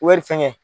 Wari fɛngɛ